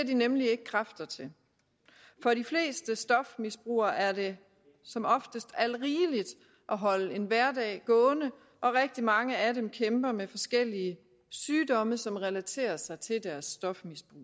de nemlig ikke kræfter til for de fleste stofmisbrugere er det som oftest alt rigeligt at holde en hverdag gående og rigtig mange af dem kæmper med forskellige sygdomme som relaterer sig til deres stofmisbrug